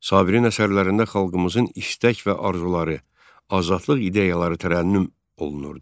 Sabirin əsərlərində xalqımızın istək və arzuları, azadlıq ideyaları tərənnüm olunurdu.